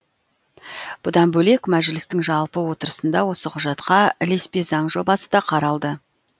бұдан бөлек мәжілістің жалпы отырысында осы құжатқа ілеспе заң жобасы да қаралды